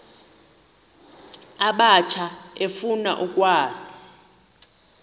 abatsha efuna ukwazi